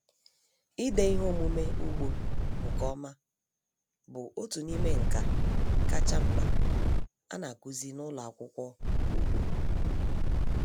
Ịde ihe omume ugbo nke ọma bụ otu n'ime nka kacha mkpa a na-akụzi n'ụlọ akwụkwọ ugbo.